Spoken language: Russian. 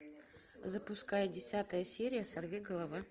запускай десятая серия сорви голова